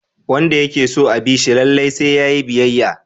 Wanda yake so a bi shi lallai sai yayi biyayya.